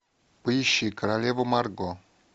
поищи королева марго